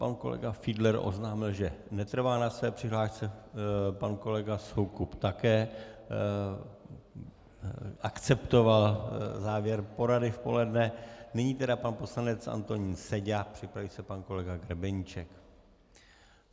Pan kolega Fiedler oznámil, že netrvá na své přihlášce, pan kolega Soukup také akceptoval závěr porady v poledne, nyní tedy pan poslanec Antonín Seďa, připraví se pan kolega Grebeníček.